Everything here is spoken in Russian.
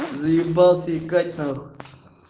заебался икать нахуй